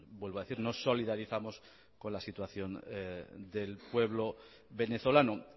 vuelvo a decir nos solidarizamos con la situación del pueblo venezolano